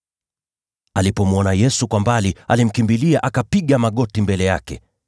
Alipomwona Yesu kwa mbali, alimkimbilia, akapiga magoti mbele yake.